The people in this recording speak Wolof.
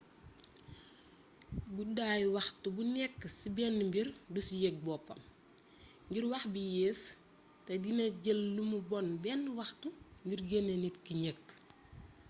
guddaayu waxtu bu nékk ci bénn mbir du ci yég boppam ngir wax bi yéés té dina jël lumu bonn bénn waxtu ngir genné nit ki njëkk